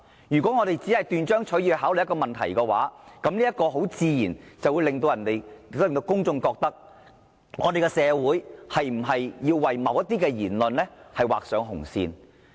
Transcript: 如果我們只是斷章取義地考慮問題，自然會令公眾有一種感覺，不知道社會是否要為某些言論劃上紅線。